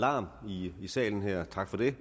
larm i salen her tak for det